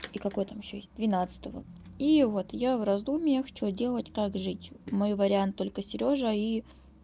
и какой там ещё есть двенадцатого и вот я в раздумьях что делать как жить мой вариант только сережа и